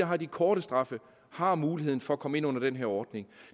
har de korte straffe har muligheden for at komme ind under den her ordning